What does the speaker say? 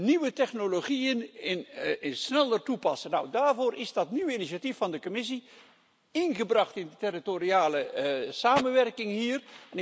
Nieuwe technologieën sneller toepassen, dáárvoor is dat nieuwe initiatief van de Commissie ingebracht in de territoriale samenwerking hier.